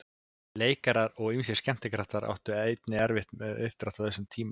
Leikarar og ýmsir skemmtikraftar áttu einnig erfitt uppdráttar á þessum tíma.